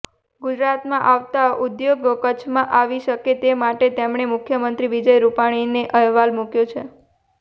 ગુજરાતમાં આવતા ઉદ્યોગો કચ્છમાં આવી શકે તે માટે તેમણે મુખ્યમંત્રી વિજયભાઈ રૂપાણીને અહેવાલ મૂક્યો છે